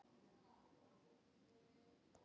Hvert er hann eiginlega farinn?